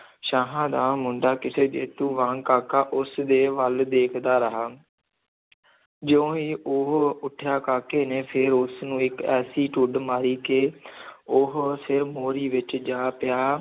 ਸ਼ਾਹਾਂ ਦਾ ਮੁੰਡਾ, ਕਿਸੇ ਜੇਤੂ ਵਾਂਗ ਕਾਕਾ ਉਸ ਦੇ ਵੱਲ ਦੇਖਦਾ ਰਿਹਾ ਜਿਉਂ ਹੀ ਉਹ ਉੱਠਿਆ, ਕਾਕੇ ਨੇ ਫਿਰ ਉਸ ਨੂੰ ਇੱਕ ਐਸੀ ਢੁੱਡ ਮਾਰੀ ਕਿ ਉਹ ਫਿਰ ਮੋਰੀ ਵਿੱਚ ਜਾ ਪਿਆ